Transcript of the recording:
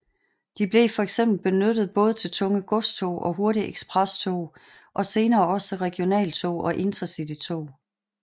De blev for eksempel benyttet både til tunge godstog og hurtige eksprestog og senere også til regionaltog og InterCitytog